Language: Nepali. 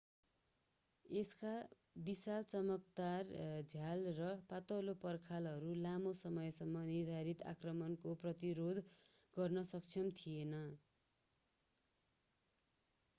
यसका विशाल चमकदार झ्याल र पातलो पर्खालहरू लामो समयसम्म निर्धारित आक्रमणको प्रतिरोध गर्न सक्षम थिएनन्